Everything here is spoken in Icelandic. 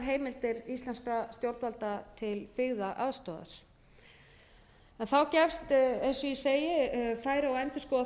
heimildir íslenskra stjórnvalda til byggðaaðstoðar en þá gefst eins og ég segi færi á að endurskoða þessi